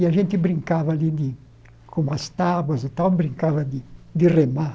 E a gente brincava ali de, com umas tábuas e tal, brincava de de remar.